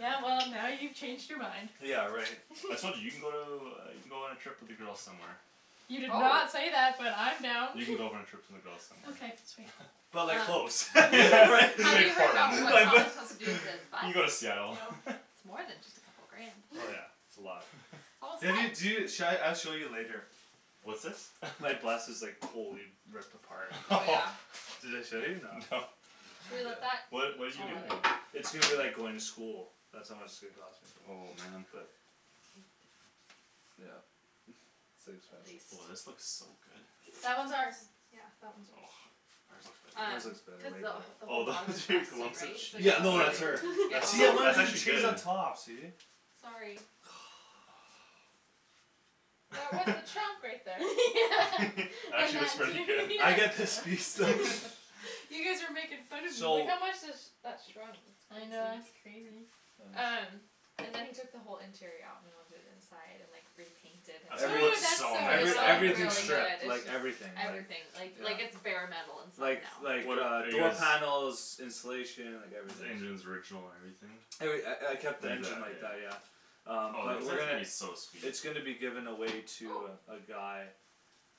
Yeah well, now you've changed your mind Yeah right I told you, you can go to, you can go on a trip with the girls somewhere You did not Probab- say that, but I'm down You can go on a trip with the girls somewhere Okay sweet But like Um close right, Have you heard Portland about what like th- Thomas wants to do with his bus? You can go to Seattle It's more than just a couple grand Oh yeah, it's a lot All Maybe y- do, set sha- I'll show you later What's this My bus is like totally ripped apart Oh yeah Did I show you, no No Should we let that What, what you do I'll in add it here It's going to be like going to school That's how much it's gonna cost me, Oh man but Yep it's too At expensive Oh this least looks so good That one's ours Yeah, that one's yours Ours Um, Ours looks looks better, better cuz way the wh- better the Oh whole those bottom is rusted lumps of right, so cheese, Yeah no that's her that's See I so, wanted that's to do actually cheese on good top, see Sorry That was the chunk right there Actually looks Yeah pretty good I get this piece though You guys were making fun of me Like So how much has that shrunk I S- know, that's crazy crazy Uh Um, and then he took the whole interior out and went and did inside and like, repainted That's gonna Every- Ooh look that's so so It still nice every, though, when looks you much get it everything really done good, fun stripped, it's like just everything, everything, like like it's Yeah bare metal inside Like now like What a- uh are you door guys panels, insulation, like The everything engines original and everything? Every- I I kept the engine like that, Yeah yeah Um Oh the but we're inside's gonna gonna be so sweet It's gonna be given away Oh to uh, a guy